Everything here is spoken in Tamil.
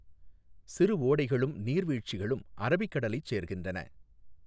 சிறுஓடைகளும் நீர் வீழ்ச்சிகளும் அரபிக் கடலைச் சேர்க்கின்றன.